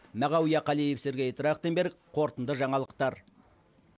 мағауия қалиев сергей трахтенберг қорытынды жаңалықтар